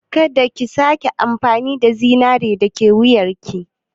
Ka da ki sake yin amfani da zinaren da yake wuyarki.